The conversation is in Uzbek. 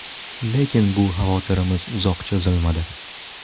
Lekin bu xavotirimiz uzoq cho‘zilmadi.